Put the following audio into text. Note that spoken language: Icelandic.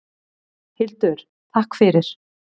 Hildur: Takk fyrir.